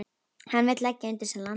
Hann vill leggja undir sig landið.